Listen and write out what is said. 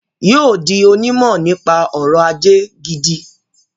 Yóò di onímọ̀ nípa ọrọ̀-ajé gidi.